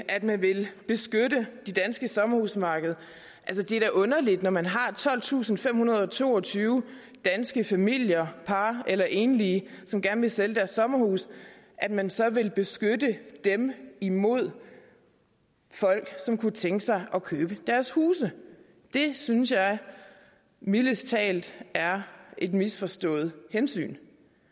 at man vil beskytte det danske sommerhusmarked det er da underligt når man har tolvtusinde og femhundrede og toogtyve danske familier par eller enlige som gerne vil sælge deres sommerhus at man så vil beskytte dem imod folk som kunne tænke sig at købe deres huse det synes jeg mildest talt er et misforstået hensyn